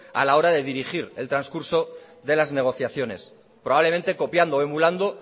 a la hora de dirigir el transcurso de las negociaciones probablemente copiando o emulando